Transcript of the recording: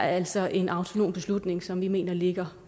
altså er en autonom beslutning som vi mener ligger